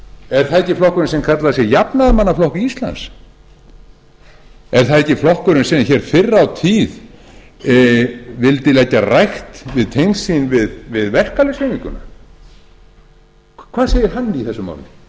er það ekki flokkurinn sem kallaði sig jafnaðarmannaflokk íslands er það ekki flokkurinn sem hér fyrr á tíð vildi leggja rækt við tengsl sín við verkalýðshreyfinguna hvað segir hann í þessu máli